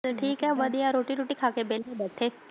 ਠੀਕ ਹੈ ਵਧੀਆ ਰੋਟੀ ਰੁਟੀ ਖਾ ਕੇ ਵੇਲੇ ਬੈਠੇ।